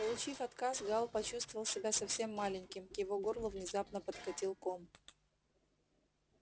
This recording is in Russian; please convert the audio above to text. получив отказ гаал почувствовал себя совсем маленьким к его горлу внезапно подкатил ком